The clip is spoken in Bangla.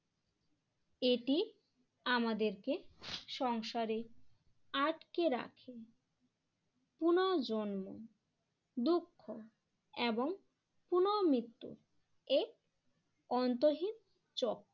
এটি আমাদেরকে সংসারে আটকে রাখে পুনর্জন্ম দুঃখ এবং পুনরমৃত্যু এর অন্তহীন চক্র।